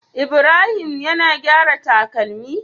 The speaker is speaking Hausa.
Ibrahim yAna gyaran takalami?